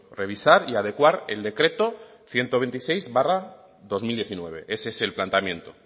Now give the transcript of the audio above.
revisar y adecuar el decreto ciento veintiséis barra dos mil diecinueve ese es el planteamiento